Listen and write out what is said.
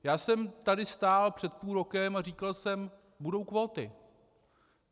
Já jsem tady stál před půl rokem a říkal jsem - budou kvóty.